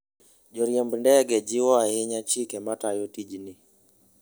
Joriemb ndege jiwo ahinya chike matayo tijgi.